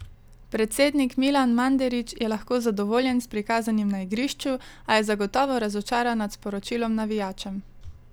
Predsednik Milan Mandarić je lahko zadovoljen s prikazanim na igrišču, a je zagotovo razočaran nad sporočilom navijačem.